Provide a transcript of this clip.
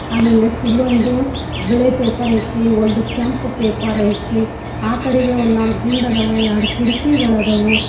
ಆಮೇಲ್ ನೆಕ್ಸ್ಟ್ ಇಲ್ಲೊಂದು ಬಿಳಿ ಪೇಪರ್ ಐತಿ ಒಂದು ಕೆಂಪ್ ಪೇಪರ್ ಐತಿ ಆಕಡೆಗೆ ಒಂದ ನಾಲ್ಕ ಗುಂಡ ಅದಾವು ಯಾಡ ಕಿಡಕಿಗಳಾದವು.